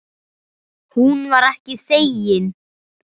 Hún var ekki þegin.